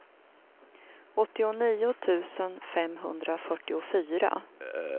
åttionio tusen femhundrafyrtiofyra